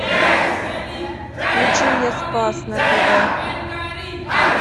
включи мне спас на тв